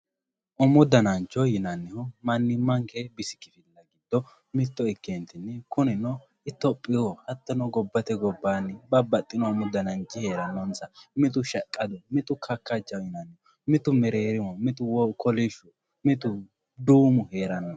umu danancho yinannihu mannimmanke bisi kifilla giddo mitto ikke ka"eentinni kunino itophiyu hattono gobbate gobbaanni babbaxxino umu dananchi heerannonsa mitu shaqqadu mitu kakkachaho yinanni mitu mereerimu mitu kolishshu mitu duumu heeranno